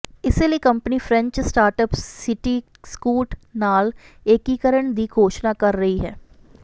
ਇਸੇ ਲਈ company French startup Cityscoot ਨਾਲ ਏਕੀਕਰਣ ਦੀ ਘੋਸ਼ਣਾ ਕਰ ਰਹੀ ਹੈ